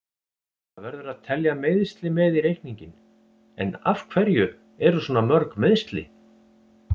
Það verður að telja meiðsli með í reikninginn, en af hverju eru svona mörg meiðsli?